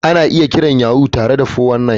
Ana iya kiran Yahoo tare da 419.